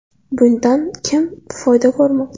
Bundan kim foyda ko‘rmoqda?